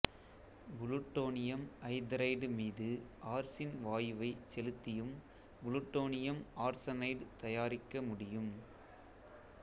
plutonium hydride மீது arsine வாயுவைச் செலுத்தியும் புளுட்டோனியம் ஆர்சனைடு தயாரிக்கமுடியும்